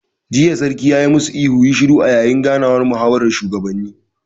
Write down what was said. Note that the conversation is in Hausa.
Jiya Sarkin ya ma su ihun 'ku yi shiru'! a yayin ganawar muhawaran shugabanni